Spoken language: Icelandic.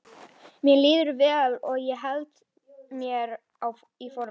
Mér líður vel og ég held mér í formi.